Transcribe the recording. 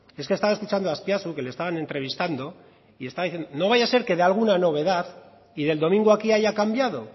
es que he estado escuchando a azpiazu que le estaban entrevistando y estaba diciendo no vaya a ser que dé alguna novedad y del domingo aquí haya cambiado